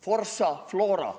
Forza, Flora!